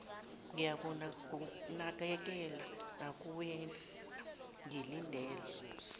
ngiyakunakekela nakuwena ngilindele